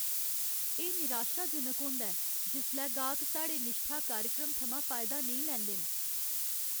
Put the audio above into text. एह् निराशाजनक होंदा ऐ जिसलै गाह्क साढ़े निश्ठा कार्यक्रम थमां फायदा नेईं लैंदे न।